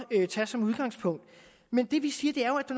tage som udgangspunkt men det vi siger er jo at